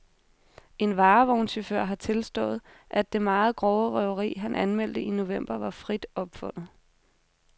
En varevognschauffør har tilstået, at det meget grove røveri, han anmeldte i november, var frit opfundet.